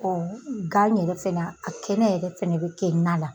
O ga yɛrɛ fɛna a kɛnɛ yɛrɛ fɛnɛ bi kɛ na la